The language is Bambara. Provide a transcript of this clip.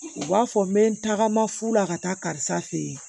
U b'a fɔ n bɛ n tagama fu la ka taa karisa fɛ yen